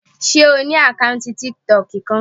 Ṣe o ni akọọlẹ tiktok kan?